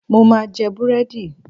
Mo ma jẹ búrẹ́dì.